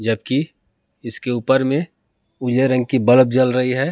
जबकि इसके ऊपर में उजले रंग की बल्ब जल रही है।